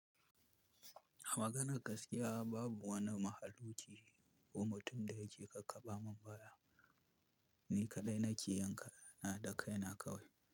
A maganan gaskiya babu wani mahaluki ko mutum da ya ke ka kaba min baya, ni kaɗai nake yinkaya na da kaina kawai.